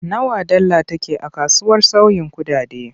Nawa dala take a kasuwar sauyin kuɗaɗe?